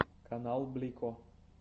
канал блико